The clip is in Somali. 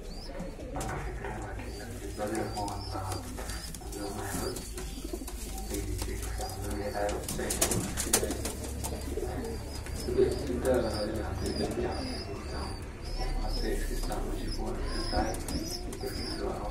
Wan kafikira lakin baadhi lama helo, lakin sheey ka fican lama helayo aad ayu u wanagsanyahay ,badalkisa aa laradhina hadey dhib waxas kugu taha oo aa iska istic masho ayey wanag santahay.